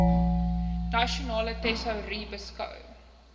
nasionale tesourie beskou